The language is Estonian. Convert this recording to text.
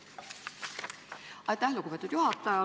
Aitäh, lugupeetud juhataja!